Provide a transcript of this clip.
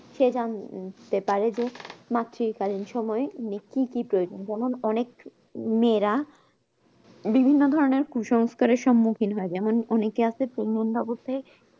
সে যান তে পারে যে মাতৃ কালীন সময় কি কি প্রয়োজন যেমন অনেক মেয়েরা বিভিন্ন ধরণের কুসংস্কার এর সমুখীন হয় যেমন অনেকে আসে নিন্দবোধে